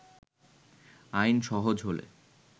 আইন সহজ হলে